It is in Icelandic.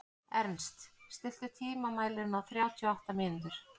Ernst, stilltu tímamælinn á þrjátíu og átta mínútur.